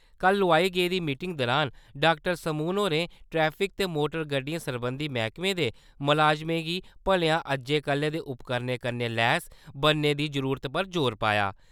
कल लोआई गेदी मीटिंग दौरान डाक्टर समून होरें ट्रैफिक ते मोटर गड्डियें सरबंधी मैह्कमे दे मलाजमें गी भलेआं अज्जै-कल्लै दे उपकरणें कन्नै लैस बनाने दी जरूरतै पर जोर पाया।